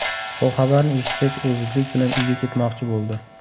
Bu xabarni eshitgach, u zudlik bilan uyga ketmoqchi bo‘ldi.